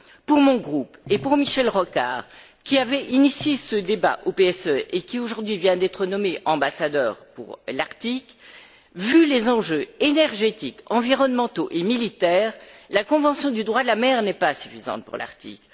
Pour mon groupe, et pour Michel Rocard, qui avait initié ce débat au PSE et qui aujourd'hui vient d'être nommé ambassadeur pour l'Arctique, vu les enjeux énergétiques, environnementaux et militaires, la convention du droit de la mer n'est pas suffisante pour l'Arctique.